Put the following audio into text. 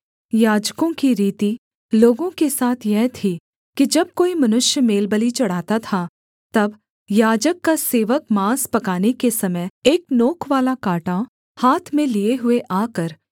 याजकों की रीति लोगों के साथ यह थी कि जब कोई मनुष्य मेलबलि चढ़ाता था तब याजक का सेवक माँस पकाने के समय एक नोकवाला काँटा हाथ में लिये हुए आकर